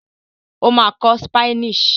O ma kọ Spanish